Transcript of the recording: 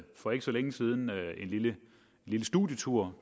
for ikke så længe siden en lille studietur